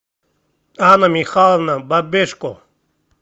анна михайловна бабешко